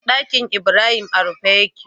Ɗakinibrahim a rufe yake